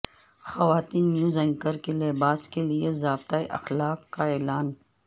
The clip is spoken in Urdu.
خواتین نیوز اینکروں کے لباس کے لئے ضابطہ اخلاق کا اعلان